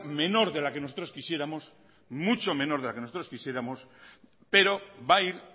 menor de la que nosotros quisiéramos mucho menos de la que nosotros quisiéramos pero va a ir